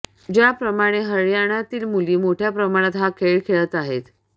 ज्या प्रमाणे हरयाणातील मुली मोठय़ा प्रमाणात हा खेळ खेळत आहेत